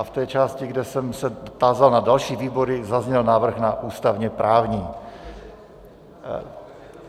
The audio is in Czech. A v té části, kde jsem se tázal na další výbory, zazněl návrh na ústavně-právní.